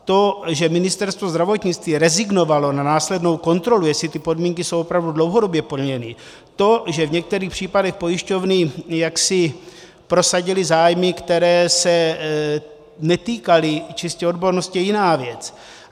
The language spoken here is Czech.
To, že Ministerstvo zdravotnictví rezignovalo na následnou kontrolu, jestli ty podmínky jsou opravdu dlouhodobě plněny, to, že v některých případech pojišťovny jaksi prosadily zájmy, které se netýkaly čistě odbornosti, je jiná věc.